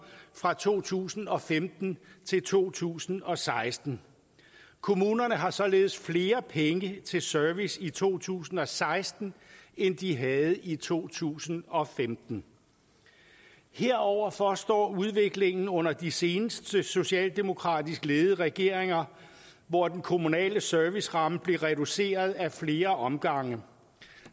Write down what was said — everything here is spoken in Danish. fra to tusind og femten til to tusind og seksten kommunerne har således flere penge til service i to tusind og seksten end de havde i to tusind og femten heroverfor står udviklingen under de seneste socialdemokratisk ledede regeringer hvor den kommunale serviceramme blev reduceret ad flere omgange